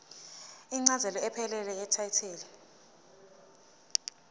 incazelo ephelele yetayitela